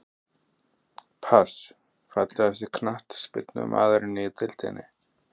Pass Fallegasti knattspyrnumaðurinn í deildinni?